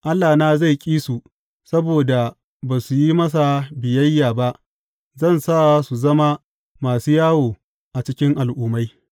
Allahna zai ƙi su saboda ba su yi masa biyayya ba; za su zama masu yawo a cikin al’ummai.